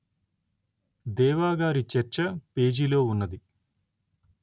దేవా గారి చర్చ పేజీలో ఉన్నది